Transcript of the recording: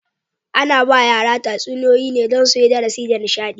Ana ba wa yara tatsuniyoyi ne don suyi darasi da nishaɗi.